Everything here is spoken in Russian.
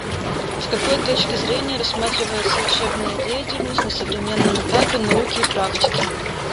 с какой точки зрения рассматривается учебная деятельность на современном этапе науки и практики